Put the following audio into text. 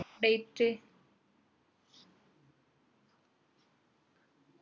date